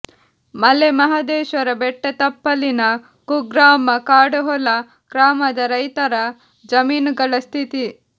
ಮಲೆ ಮಹದೇಶ್ವರ ಬೆಟ್ಟತಪ್ಪಲಿನ ಕುಗ್ರಾಮ ಕಾಡುಹೊಲ ಗ್ರಾಮದ ರೈತರ ಜಮೀನುಗಳ ಸ್ಥಿತಿ